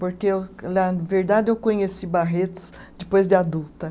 Porque eu, na verdade, eu conheci Barretos depois de adulta.